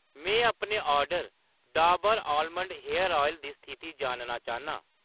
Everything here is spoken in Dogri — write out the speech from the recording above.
में अपने order Dabur almond hair oil दी दी स्थिति जानना चाह्‌न्नां।